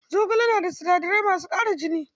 Zogale yana da sinadarai masu ƙara jini.